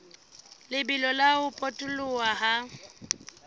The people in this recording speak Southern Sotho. lebelo la ho potoloha ha